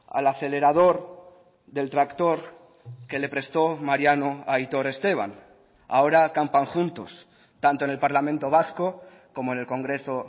al acelerador del tractor que le prestó mariano a aitor esteban ahora campan juntos tanto en el parlamento vasco como en el congreso